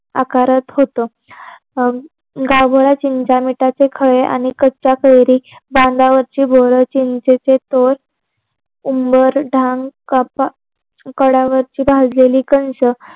आकारत होत गावभळा चिंचा आणि मिठाचे खडे आणि कच्या कैरी बांधावरची बोर चिंचेचे तोर भाजलेली कणसं